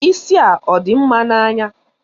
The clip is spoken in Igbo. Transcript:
Isi a ọ dị mma n'anya?